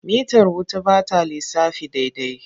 Mitar wuta ba ta lissafi daidai.